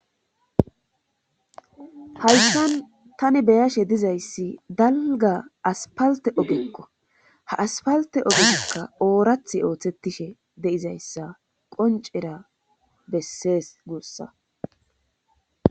hayssan tani beyashe dizayssi dalga aspalte ogekko ha aspalte ogekka oorathi ooththettishe deizayssa qoncera bessees guussa